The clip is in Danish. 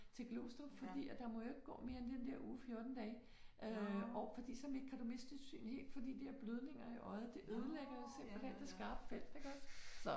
Til Glostrup fordi at der må jo ikke gå mere end den der uge 14 dage øh og fordi at så kan du miste synet helt for de der blødninger i øjet det ødelægger simpelthen det skarpe felt iggås så